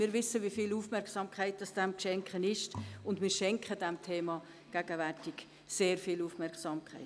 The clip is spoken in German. Denn wir wissen, wie viel Aufmerksamkeit dem Thema zu schenken ist, und das tun wir auch.